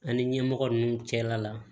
An ni ɲɛmɔgɔ nunnu cɛla la